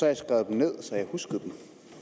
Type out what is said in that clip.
jeg skrevet dem ned så jeg huskede dem